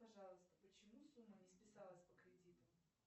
пожалуйста почему сумма не списалась по кредиту